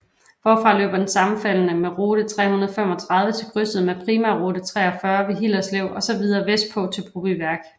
Herfra forløber den sammenfaldende med rute 335 til krydset med primærrute 43 ved Hillerslev og så videre vestpå til Brobyværk